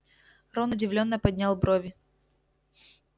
рон удивлённо поднял брови